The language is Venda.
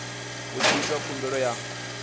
hu tshi itwa khumbelo ya